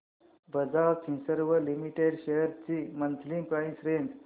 Bajaj Finserv limited shares ची monthly price range